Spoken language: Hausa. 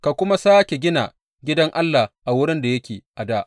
Ka kuma sāke gina gidan Allah a wurin da yake a dā.’